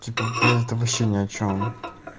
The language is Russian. типа блять это вообще ни о чём